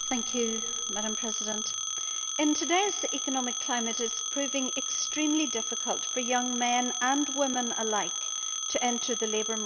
Madam President, in today's economic climate it is proving extremely difficult for young men and women alike to enter the labour market.